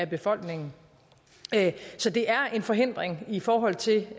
befolkningen så det er en forhindring i forhold til